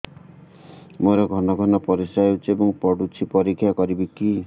ମୋର ଘନ ଘନ ପରିସ୍ରା ହେଉଛି ଏବଂ ପଡ଼ୁଛି ପରିସ୍ରା ପରୀକ୍ଷା କରିବିକି